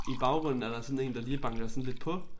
I baggrunden er der sådan én der lige banker sådan lidt på